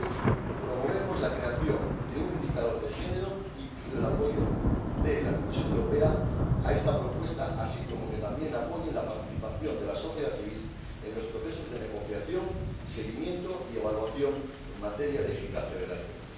Por ello, promovemos la creación de un indicador de género y pido el apoyo de la Comisión Europea para esta propuesta, así como que también apoye la participación de la sociedad civil en los procesos de negociación, seguimiento y evaluación en materia de eficacia de la ayuda.